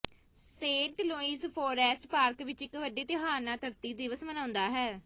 Saint Louis Forest Park ਵਿਚ ਇਕ ਵੱਡੇ ਤਿਉਹਾਰ ਨਾਲ ਧਰਤੀ ਦਿਵਸ ਮਨਾਉਂਦਾ ਹੈ